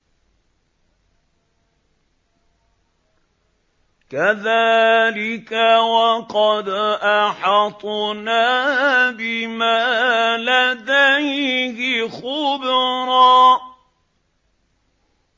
كَذَٰلِكَ وَقَدْ أَحَطْنَا بِمَا لَدَيْهِ خُبْرًا